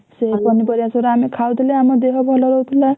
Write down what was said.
ଆଉ ପନିପରିବା ସେଗୁରା ଆମେ ଖାଉଥିଲେ ଆମ ଦେହ ଭଲ ରହୁଥିଲା।